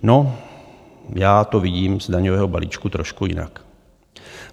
No, já to vidím z daňového balíčku trošku jinak.